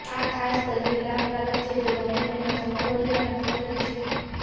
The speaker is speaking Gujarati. આ ખાસ કરીને લાભકારક છે જો તમે તેના સમોવડીયાના ખાતરી છે